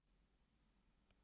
En mér finnst ég hugsa.